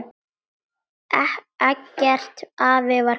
Eggert afi var góður maður.